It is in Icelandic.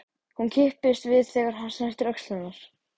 Hún kippist við þegar hann snertir öxl hennar.